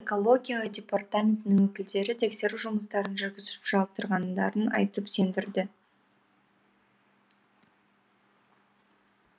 экология департаментінің өкілдері тексеру жұмыстарын жүргізіп жатырғандарын айтып сендірді